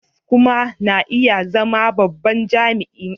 Provost kuma na iya zama babban jami'in ilimi.